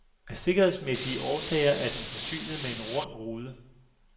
Af sikkerhedsmæssige årsager er den forsynet med en rund rude.